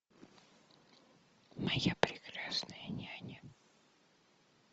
моя прекрасная няня